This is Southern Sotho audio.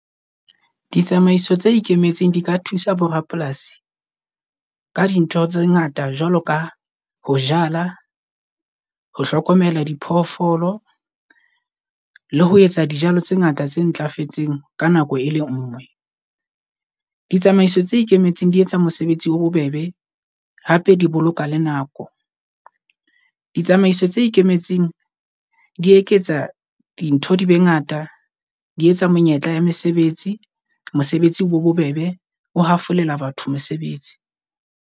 Ditsamaiso tse ikemetseng di ka thusa bo rapolasi ka dintho tse ngata jwalo ka ho jala, ho hlokomela diphoofolo le ho etsa dijalo tse ngata tse ntlafetseng ka nako e le ngwe. Ditsamaiso tse ikemetseng di etsa mosebetsi o bobebe hape di boloka le nako. Ditsamaiso tse ikemetseng di eketsa dintho di be ngata, di etsa menyetla ya mesebetsi. Mosebetsi o be bobebe o hafolela batho mosebetsi.